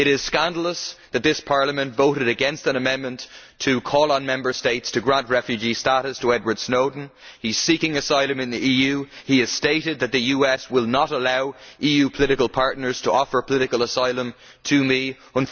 It is scandalous that this Parliament voted against an amendment to call on Member States to grant refugee status to Edward Snowden. He is seeking asylum in the EU. He has stated that the US will not allow EU political partners to offer political asylum to him.